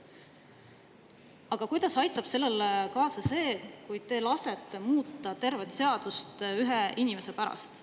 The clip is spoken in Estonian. Aga kuidas aitab sellele kaasa see, kui te lasete muuta tervet seadust ühe inimese pärast?